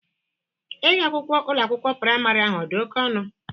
Ego akwụkwọ Ụlọ akwụkwọ praịmarị ahụ ọ dị oke ọnụ?